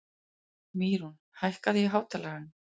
Mýrún, hækkaðu í hátalaranum.